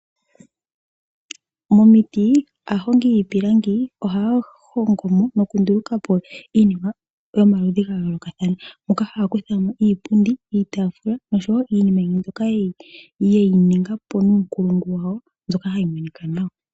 Momiti aahongi yiipilangi ohaya hongo mo nokunduluka po iinima yomaludhi ga yoolokathana. Ohaya kuthamo iipundi, iitaafula nosho woo iinima yimwe mbyoka ye yi ninga po nuunkulungu wawo hayi monika nawa.